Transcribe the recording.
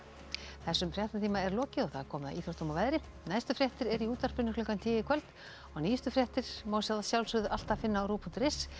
þessum fréttatíma er lokið og komið að íþróttum og veðri næstu fréttir eru í útvarpinu klukkan tíu í kvöld og nýjustu fréttir má alltaf finna á ruv punktur is